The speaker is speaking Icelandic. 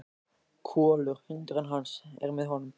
Kolur, hundurinn hans, er með honum.